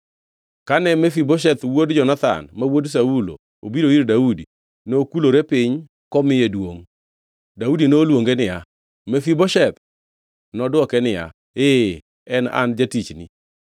Kane Mefibosheth wuod Jonathan, ma wuod Saulo, obiro ir Daudi, nokulore piny komiye duongʼ. Daudi noluonge niya, “Mefibosheth!” Nodwoke niya, Ee, en an jatichni.